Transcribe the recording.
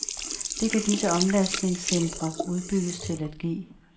Det kan disse omlastningscentre udbygges til at give.